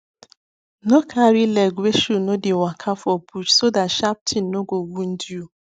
no carry leg wey shoe no deywaka for bush so that sharp thing no go wound you